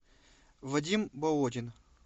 вадим болотин